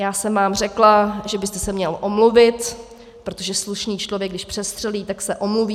Já jsem vám řekla, že byste se měl omluvit, protože slušný člověk, když přestřelí, tak se omluví.